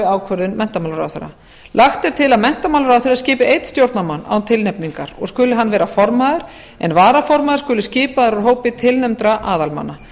ákvörðun menntamálaráðherra lagt er til að menntamálaráðherra skipi einn stjórnarmann án tilnefningar og skuli hann vera formaður en varaformaður skuli skipaður úr hópi tilnefndra aðalmanna